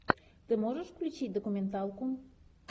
ты можешь включить документалку